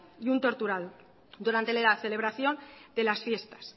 y un torturador durante la celebración de las fiestas